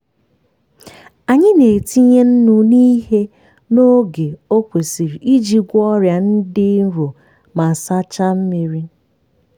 anyị na-etinye nnu n'ihe n’ogo o kwesiri iji gwọọ ọrịa dị nro ma sachaa mmiri.